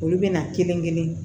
Olu bɛna kelen kelen